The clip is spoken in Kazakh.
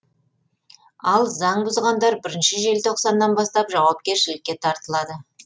ал заң бұзғандар бірінші желтоқсаннан бастап жауапкершілікке тартылады